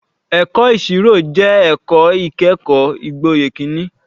Ẹ̀kọ́ ìṣirò jẹ́ ẹ̀kọ́ ìkẹ́kọ̀ọ́ gboyè kìíní.